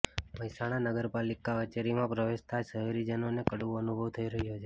મહેસાણા નગરપાલિકા કચેરીમાં પ્રવેશતાં જ શહેરીજનોને કડવો અનુભવ થઈ રહ્યો છે